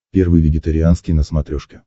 первый вегетарианский на смотрешке